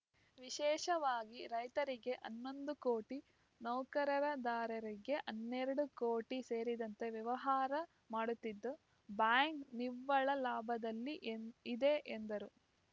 ವಿಶೇಷವಾಗಿ ರೈತರಿಗೆ ಹನ್ನೊಂದು ಕೋಟಿ ನೌಕರದಾರರಿಗೆ ಹನ್ನೆರಡು ಕೋಟಿ ಸೇರಿದಂತೆ ವ್ಯವಹಾರ ಮಾಡುತ್ತಿದ್ದು ಬ್ಯಾಂಕ್‌ ನಿವ್ವಳ ಲಾಭದಲ್ಲಿ ಎ ಇದೆ ಎಂದರು